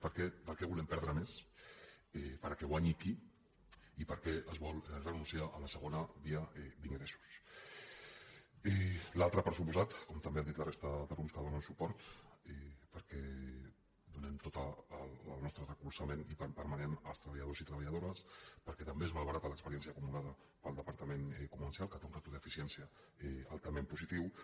per què per què volem perdre més perquè hi guanyi qui i per què es vol renunciar a la segona via d’ingressos l’altre per descomptat com també han dit la resta de grups que hi donen suport perquè donem tot el nostre recolzament permanent als treballadors i treballadores perquè també es malbarata l’experiència acumulada pel departament comercial que té una ràtio d’eficiència altament positiva